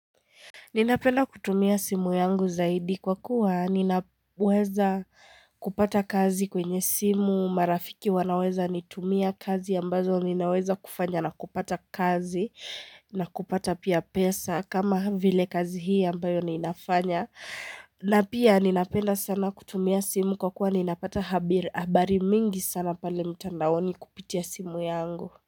Ninapenda kutumia simu yangu zaidi kwa kuwa ninaweza kupata kazi kwenye simu marafiki wanaweza nitumia kazi ambazo ninaweza kufanya na kupata kazi na kupata pia pesa kama vile kazi hii ambayo ninafanya. Na pia ninapenda sana kutumia simu kwa kuwa ninapata habari mingi sana pale mtandaoni kupitia simu yangu.